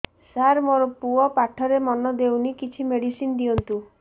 ସାର ମୋର ପୁଅ ପାଠରେ ମନ ଦଉନି କିଛି ମେଡିସିନ ଦିଅନ୍ତୁ